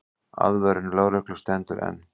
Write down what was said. Aðvörun lögreglu stendur enn.